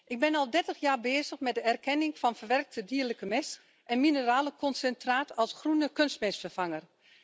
Ik ben al 30 jaar bezig met de erkenning van verwerkte dierlijke mest en mineralenconcentraat als groene kunstmestvervanger.